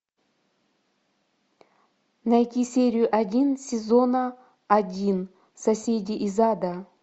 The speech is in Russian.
найти серию один сезона один соседи из ада